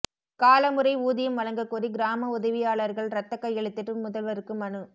கால முறை ஊதியம் வழங்க கோரி கிராம உதவியாளர்கள் ரத்த கையெழுத்திட்டு முதல்வருக்கு மனு